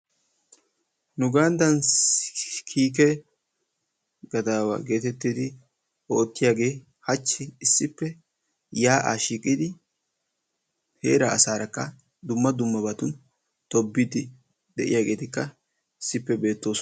Nu ganddan kiike gadaawa geetettidi oottiyagee hachchi issippe yaa'aa shiiqidi heeraa asaarakka dumma dummabatun tobbiiddi de'iyageetikka issippe beettoosona.